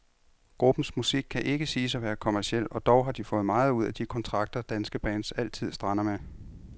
Gruppens musik kan ikke siges at være kommerciel, og dog har de fået meget ud af de kontrakter, danske bands altid strander med.